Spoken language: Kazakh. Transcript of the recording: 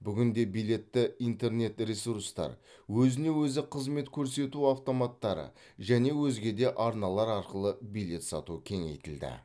бүгінде билетті интернет ресурстар өзіне өзі қызмет көрсету автоматтары және өзге де арналар арқылы билет сату кеңейтілді